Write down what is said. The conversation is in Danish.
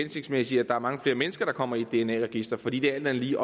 hensigtsmæssigt at mange flere mennesker kommer i et dna register fordi det alt andet lige